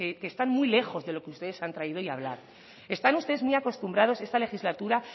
que están muy lejos de los que ustedes han traído hoy a hablar están ustedes muy acostumbrados esta legislatura